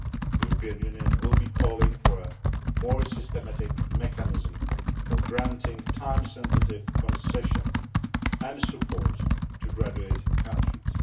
The European Union will be calling for a more systematic mechanism for granting time sensitive concession and support to graduating countries.